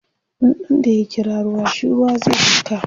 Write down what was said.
tsutsun da ya kira ruwa shi Ruwa zai duka